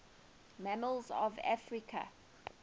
mammals of africa